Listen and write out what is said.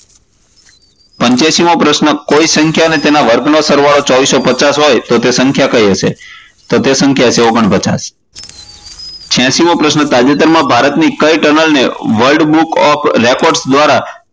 પંચ્યાસી મો પ્રશ્ન કોઈ સંખ્યાને તેના વર્ગનો સરવાળો ચારસો પચાસ હોય તો તે સંખ્યા કઈ હશે? તો તે સંખ્યા હશે ઓગણપચાશ. છયાશી મો પ્રશ્ન તાજેતર માં ભારતની કઇ ટનલ ને world book of record દ્વારા